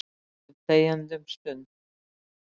Við sátum þegjandi um stund.